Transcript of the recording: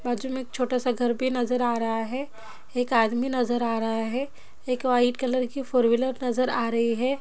बाजु में एक छोटा सा घर भी नजर आ रहा है। एक अदमी नजर आ रहा है। एक वाइट कलर की फोर व्हीलर नजर आ रही है।